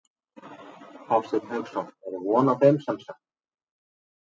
Hafsteinn Hauksson: Er von á þeim semsagt?